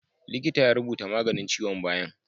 Likita ya rubuta maganin ciwon bayan